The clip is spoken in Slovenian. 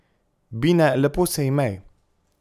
Bine, lepo se imej.